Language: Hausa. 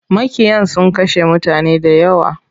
Maƙiyan sun kashe mutane dayawa.